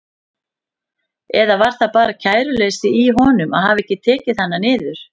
Eða var það bara kæruleysi í honum að hafa ekki tekið hana niður?